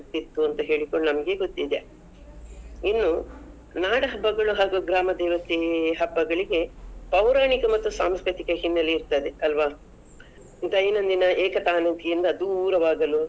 ಆಗ್ತಿತ್ತು ಅಂತ ಹೇಳಿಕೊಂಡು ನಮ್ಗೆ ಗೊತ್ತಿದೆ. ಇನ್ನು ನಾಡಹಬ್ಬಗಳು ಹಾಗೂ ಗ್ರಾಮದೇವತೆ ಹಬ್ಬಗಳಿಗೆ ಪೌರಾಣಿಕ ಮತ್ತು ಸಾಂಸ್ಕೃತಿಕ ಹಿನ್ನಲೆ ಇರ್ತದೆ ಅಲ್ವಾ? ದೈನಂದಿನ ಏಕತನೂಕಿಯಿಂದ ದೂರವಾಗಲು.